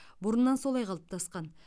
бұрыннан солай қалыптасқан